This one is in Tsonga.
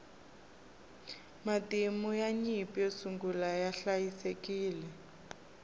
matimu ya nyimpi yo sungula ya hliayisekile